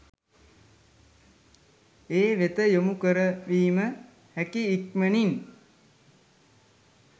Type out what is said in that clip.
ඒ වෙත යොමු කරවීම හැකි ඉක්මනින්